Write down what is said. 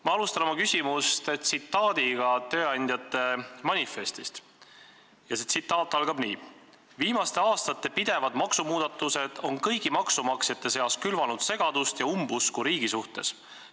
Ma alustan oma küsimust tsitaadiga tööandjate manifestist ja see tsitaat algab nii: "Viimaste aastate pidevad maksumuudatused on kõigi maksumaksjate seas külvanud segadust ja umbusku riigi suhtes.